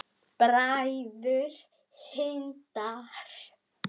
Bræður Hindar